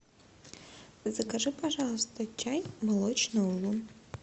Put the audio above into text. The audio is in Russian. закажи пожалуйста чай молочный улун